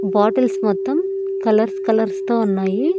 Bottles మొత్తం colours colours తో ఉన్నాయి.